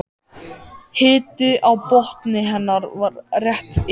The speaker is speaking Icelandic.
Hiti á botni hennar var rétt yfir